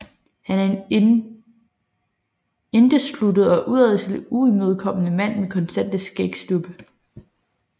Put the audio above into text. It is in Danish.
Han er en indesluttet og udadtil uimødekommende mand med konstante skægstubbe